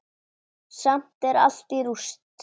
Samt er allt í rúst.